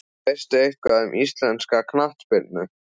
Veistu eitthvað um íslenska kvennaknattspyrnu?